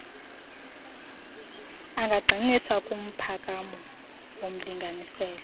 angagxininisa kumphakamo womlinganiselo